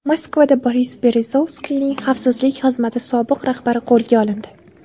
Moskvada Boris Berezovskiyning xavfsizlik xizmati sobiq rahbari qo‘lga olindi.